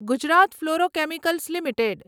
Gujarat fluorochemicals limited